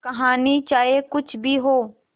कहानी चाहे कुछ भी हो